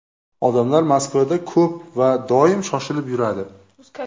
Odamlar Moskvada ko‘p va doim shoshilib yuradi.